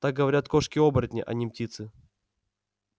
так говорят кошки-оборотни а не птицы